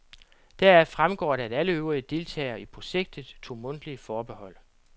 Deraf fremgår det, at alle øvrige deltagere i projektet tog mundtlige forbehold.